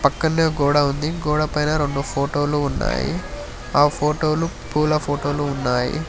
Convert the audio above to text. పక్కనే ఒక గోడ ఉంది గోడ పైన రెండు ఫోటోలు ఉన్నాయి ఆ ఫోటో లు పూల ఫోటోలు ఉన్నాయి.